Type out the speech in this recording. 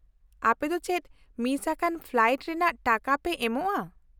-ᱟᱯᱮ ᱫᱚ ᱪᱮᱫ ᱢᱤᱥ ᱟᱠᱟᱱ ᱯᱷᱞᱟᱭᱤᱴ ᱨᱮᱱᱟᱜ ᱴᱟᱠᱟ ᱯᱮ ᱮᱢᱚᱜᱼᱟ ?